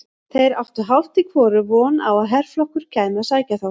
Þeir áttu hálft í hvoru von á að herflokkur kæmi að sækja þá.